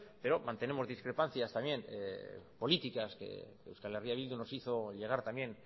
pero mantenemos discrepancias también políticas que euskal herria bildu nos hizo llegar también